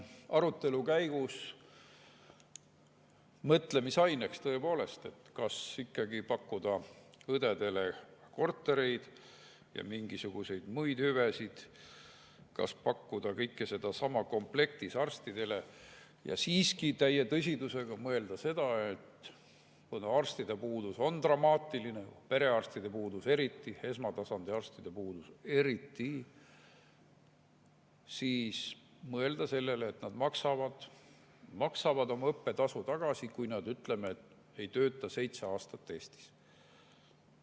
Arutelu käigus mõtlemisaineks: kas pakkuda õdedele kortereid ja mingisuguseid muid hüvesid, kas pakkuda kõike seda samas komplektis arstidele ja siiski täie tõsidusega mõelda sellele – kuna arstide puudus on dramaatiline, perearstide puudus eriti, esmatasandi arstide puudus eriti –, et nad maksaksid tagasi, kui nad, ütleme, ei tööta seitse aastat Eestis.